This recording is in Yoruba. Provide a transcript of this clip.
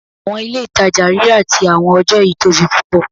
Awọn ile-itaja rira ti awọn ọjọ yii tobi pupọ